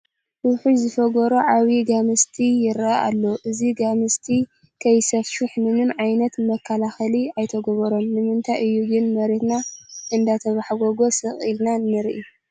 ውሑድ ዝፈገሮ ዓብዪ ጋምስቲ ይርአ ኣሎ፡፡ እዚ ጋምስቲ ከይሰፍሕ ምንም ዓይነት መከላኸሊ ኣይተገብሮን፡፡ ንምንታይ እዩ ግን መሬትና እንዳተባሕጐጎ ስቕ ኢልና ንርኢ?